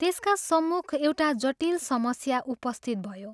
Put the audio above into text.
त्यसका सम्मुख एउटा जटिल समस्या उपस्थित भयो।